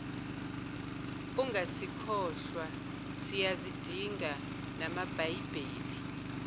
ungasikhohlwa siyazidinga namabhayibheli